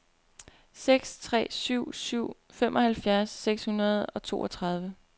seks tre syv syv femoghalvfjerds seks hundrede og toogtredive